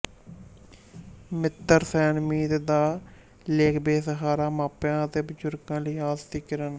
ਮਿਤਰ ਸੈਨ ਮੀਤ ਦਾ ਲੇਖਬੇਸਹਾਰਾ ਮਾਪਿਆਂ ਅਤੇ ਬਜੁਰਗਾਂ ਲਈ ਆਸ ਦੀ ਕਿਰਨ